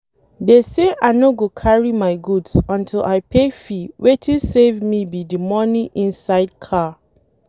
Dey say I no go carry my goods until I pay fee wetin save me be the money inside car